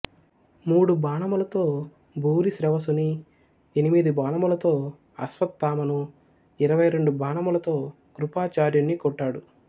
మూడు బాణములతో భూరిశ్రవసుని ఎనిమిది బాణములతో అశ్వత్థామను ఇరవై రెండు బాణములతో కృపాచార్యుని కొట్టాడు